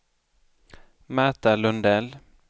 Märta Lundell